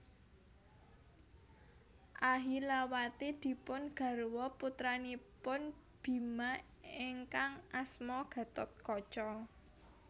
Ahilawati dipun garwa putranipun Bima ingkang asma Gathotkaca